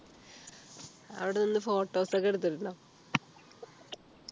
അവിടെ നിന്ന് photos ഒക്കെ എടുത്തിട്ടുണ്ടോ